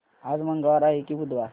आज मंगळवार आहे की बुधवार